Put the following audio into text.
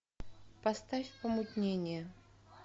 поставь помутнение